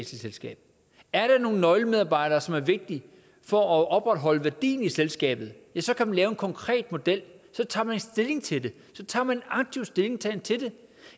selskab er der nogle nøglemedarbejdere som er vigtige for at opretholde værdien i selskabet ja så kan man lave en konkret model så tager man stilling til det så tager man aktivt stilling til det